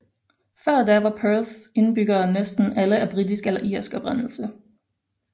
Før da var Perths indbyggere næsten alle af britisk eller irsk oprindelse